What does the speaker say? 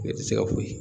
Ne tɛ se ka foyi